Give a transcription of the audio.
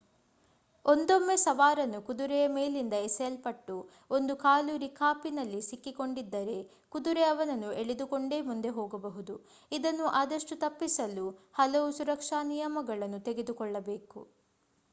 ಒಂದೊಮ್ಮೆ ಸವಾರನು ಕುದುರೆಯ ಮೇಲಿಂದ ಎಸೆಯಲ್ಪಟ್ಟು ಒಂದು ಕಾಲು ರಿಕಾಪಿನಲ್ಲಿ ಸಿಕ್ಕಿ ಕೊಂಡಿದ್ದರೆ ಕುದುರೆ ಅವನನ್ನು ಎಳೆದುಕೊಂಡೇ ಮುಂದೆ ಹೋಗಬಹುದು ಇದನ್ನು ಆದಷ್ಟು ತಪ್ಪಿಸಲು ಹಲವು ಸುರಕ್ಷಾ ನಿಯಮಗಳನ್ನು ತೆಗೆದುಕೊಳ್ಳಬೇಕು